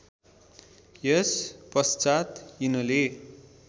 यस पश्चात यिनले